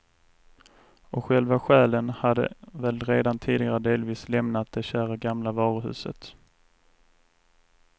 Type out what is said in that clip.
Och själva själen hade väl redan tidigare delvis lämnat det kära gamla varuhuset.